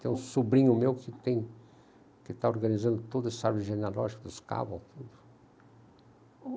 Tem um sobrinho meu que tem, que está organizando toda essa árvore genealógica dos caval tudo.